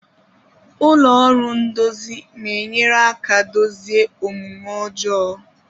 Ụlọ ọrụ ndozi na-enyere aka dozie omume ọjọọ.